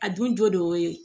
A dun jɔ de y'o ye